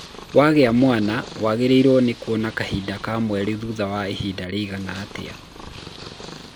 Wagĩa mwana waagĩrĩiruo nĩ kuona kahinda ka mweri thutha wa ihinda rĩigana atĩa?